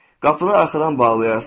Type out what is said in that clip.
Qapını arxadan bağlayarsan.